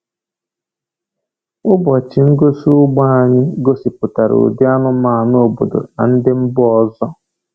Ụbọchị ngosi ugbo anyị gosipụtara ụdị anụmanụ obodo na ndị mba ọzọ.